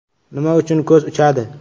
Nima uchun ko‘z “uchadi”?.